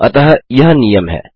अतः यह नियम है